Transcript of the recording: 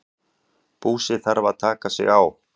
Búsi þarf að taka sig á.